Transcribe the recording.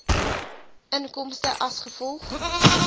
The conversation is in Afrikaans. inkomste as gevolg